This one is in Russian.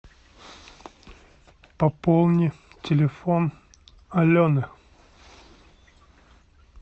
пополни телефон алены